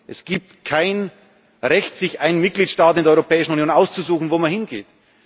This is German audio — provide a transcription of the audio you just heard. Es gibt kein Recht, sich einen Mitgliedstaat in der Europäischen Union auszusuchen, wo man hingeht.